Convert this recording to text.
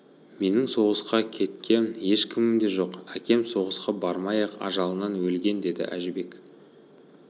менің соғысқа кеткен ешкімім де жоқ әкем соғысқа бармай-ақ ажалынан өлген деді әжібек